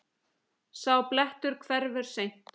Sá blettur hverfur seint.